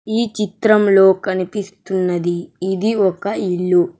ఈ చిత్రంలో కనిపిస్తున్నది ఇది ఒక ఇల్లు.